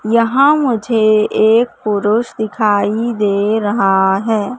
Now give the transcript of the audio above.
यहां मुझे एक पुरुष दिखाई दे रहा है।